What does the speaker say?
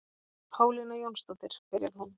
Pálína Jónsdóttir, byrjar hún.